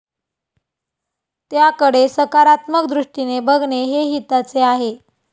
त्याकडे सकारात्मक दृष्टीने बघणे हे हिताचे आहे.